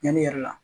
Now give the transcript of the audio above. Yani yɛrɛ la